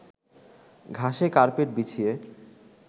ঘাসে কার্পেট বিছিয়ে